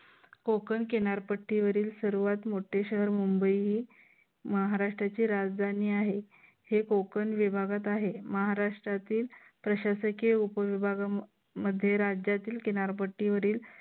कोकण किनारपट्टीवरील सर्वात मोठे शहर मुंबई ही महाराष्ट्राची राजधानी आहे. हे कोकण विभागात आहे. महाराष्ट्रातील प्रशासकीय उपविभागामध्ये राज्यातील किनारपट्टीवरील